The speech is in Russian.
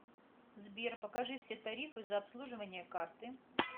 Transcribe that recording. сбер покажи все тарифы за обслуживание карты